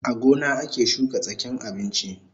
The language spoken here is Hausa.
A gona ake shuka tsakin abinchi